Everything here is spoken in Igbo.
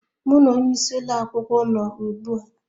Mụ na onye isi ụlọ akwụkwọ nọ ugbu a